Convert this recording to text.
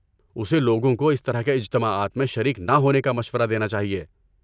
اسے لوگوں کو اس طرح کے اجتماعات میں شریک نہ ہونے کا مشورہ دینا چاہیے۔